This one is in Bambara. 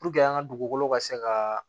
Puruke an ka dugukolo ka se ka